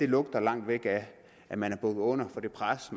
lugter langt væk af at man er bukket under for det pres